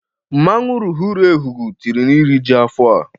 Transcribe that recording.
Mmanwụ lụghụlu Ehugu tiri n'iriji afọ a.